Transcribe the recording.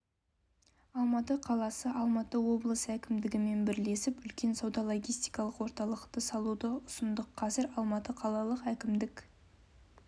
алматы қаласы алматы облысы әкімдігімен бірлесіп үлкен сауда-логистикалық орталықты салуды ұсындық қазір алматы қалалық әкімдік